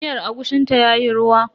Miyar agushin ta yayi ruwa.